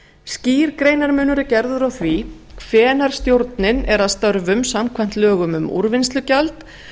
skýr greinarmunur er gerður á því hvenær stjórnin er að störfum samkvæmt lögum um úrvinnslugjald